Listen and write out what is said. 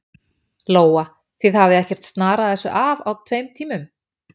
Lóa: Þið hafið ekkert snarað þessu af á tveim tímum?